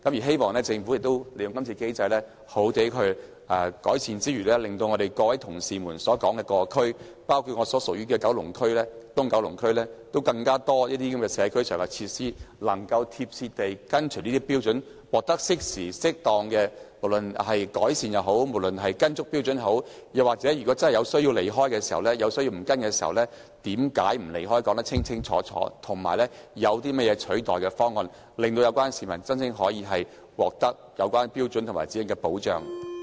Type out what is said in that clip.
希望政府利用今次機會，好好地作出改善，令到各位同事提及的各區，包括我所屬的東九龍區有更多社區設施能夠緊貼《規劃標準》得到改善或獲得適時、適當的處理；又或是當局真有需要偏離《規劃標準》，便須把偏離的理由說得清清楚楚，以及有些甚麼替代方案，令到市民真正可以藉《規劃標準》而獲得保障。